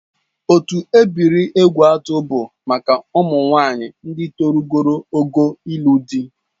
Otu ebiri Egwuatu bụ maka ụmụnwaanyị ndị rugoro ogo ịlụ di